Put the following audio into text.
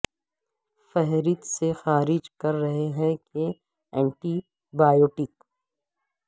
فہرست سے خارج کر رہے ہیں کہ اینٹی بایوٹک